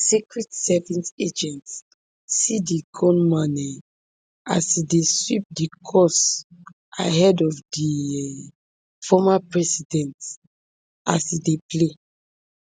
secret service agents see di gunman um as dem dey sweep di course ahead of di um former president as e dey play